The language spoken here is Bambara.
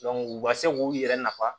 u ka se k'u yɛrɛ nafa